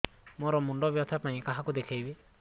ମୋର ମୁଣ୍ଡ ବ୍ୟଥା ପାଇଁ କାହାକୁ ଦେଖେଇବି